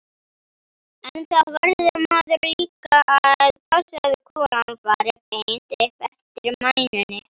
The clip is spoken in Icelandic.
En þá verður maður líka að passa að kúlan fari beint upp eftir mænunni.